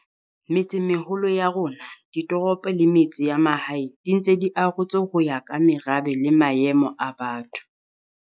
Metsemeholo ya rona, ditoropo le metse ya mahae di ntse di arotswe ho ya ka merabe le maemo a batho.